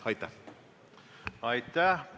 Aitäh!